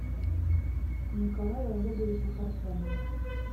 николаю олеговичу парфенову